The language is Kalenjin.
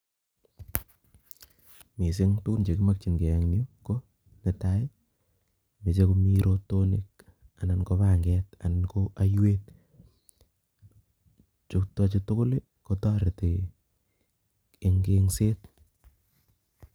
Missing tugun che kimakchinkei en yuu, ko netai, meche komii rotonik, anan ko panget, anan ko aiwet. Chutochu tugul kotoreti eng' eng'set